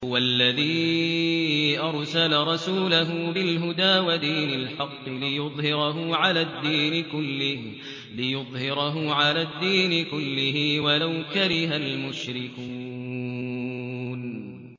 هُوَ الَّذِي أَرْسَلَ رَسُولَهُ بِالْهُدَىٰ وَدِينِ الْحَقِّ لِيُظْهِرَهُ عَلَى الدِّينِ كُلِّهِ وَلَوْ كَرِهَ الْمُشْرِكُونَ